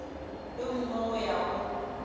yo mongwe go ya go